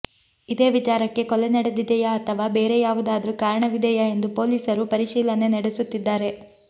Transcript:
ಇದೇ ವಿಚಾರಕ್ಕೆ ಕೊಲೆ ನಡೆದಿದೆಯಾ ಅಥವಾ ಬೇರೆ ಯಾವುದಾದ್ರೂ ಕಾರಣವಿದೆಯಾ ಎಂದು ಪೊಲೀಸರು ಪರಿಶೀಲನೆ ನಡೆಸುತ್ತಿದ್ದಾರೆ